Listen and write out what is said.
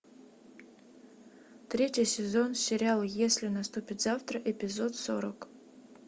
третий сезон сериал если наступит завтра эпизод сорок